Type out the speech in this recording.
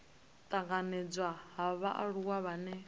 u tanganedzwa ha vhaaluwa vhane